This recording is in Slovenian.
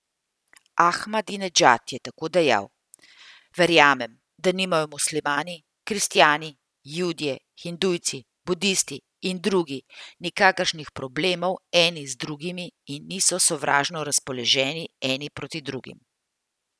Ahmadinedžad je tako dejal: 'Verjamem, da nimajo muslimani, kristjani, judje, hindujci, budisti in drugi nikakršnih problemov eni z drugimi in niso sovražno razpoloženi eni proti drugim.